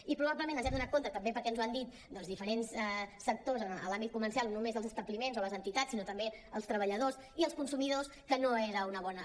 i pro·bablement ens hem adonat també perquè ens ho han dit doncs diferents sectors en l’àmbit comercial no només els establiments o les entitats sinó també els treballa·dors i els consumidors que no era una bona